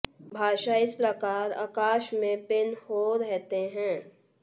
भाषा इस प्रकार आकाश में पिन हो रहते हैं